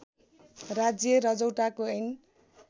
राज्य रजौटाको ऐन